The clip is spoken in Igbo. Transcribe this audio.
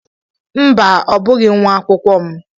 Mba, ọ bụghị nwa akwụkwọ m.